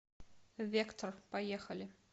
вектор поехали